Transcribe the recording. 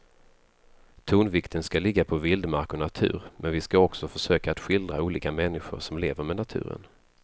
Tonvikten ska ligga på vildmark och natur men vi ska också försöka att skildra olika människor som lever med naturen.